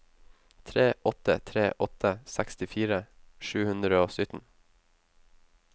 tre åtte tre åtte sekstifire sju hundre og sytten